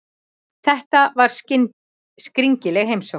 Þetta var skringileg heimsókn.